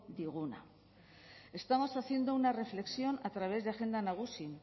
diguna estamos haciendo una reflexión a través de agenda nagusi